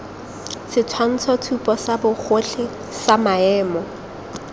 setshwantshotshupo sa bogotlhe sa maemo